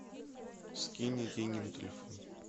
скинь мне деньги на телефон